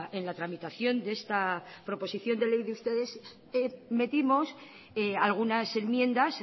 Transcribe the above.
en la tramitación de esta proposición de ley de ustedes metimos algunas enmiendas